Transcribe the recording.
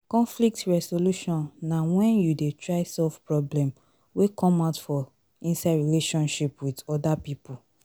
conflcit resolution na when you dey try solve problem wey come out for inside relationship with oda pipo